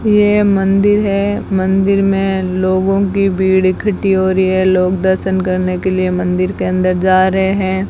ये मंदिर है मंदिर में लोगों की भीड़ इकट्ठी हो रही है लोग दर्शन करने के लिए मंदिर के अंदर जा रहे हैं।